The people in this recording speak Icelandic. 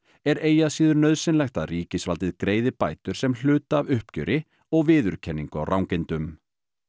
er eigi að síður nauðsynlegt að ríkisvaldið greiði bætur sem hluta af uppgjöri og viðurkenningu á rangindum